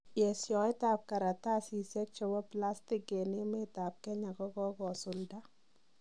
Yesoet ab karatasiseik chebo plastig en emet ab Kenya kogogosulda.